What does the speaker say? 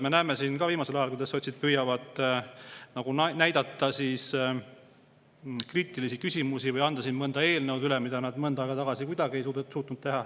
Me näeme siin viimasel ajal, kuidas sotsid püüavad kriitilisi küsimusi või anda siin eelnõusid üle, mida nad mõnda aega tagasi kuidagi ei suutnud teha.